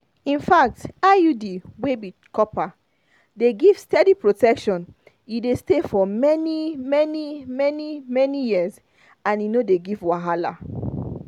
infact iud wey be copper dey give steady protection e dey stay for many-many many-many years and e no dey give wahala.